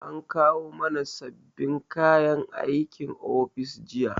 An kawo mana sababbin kayan aikin ofis jiya